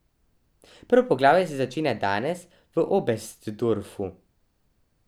Prvo poglavje se začenja danes v Obestdorfu.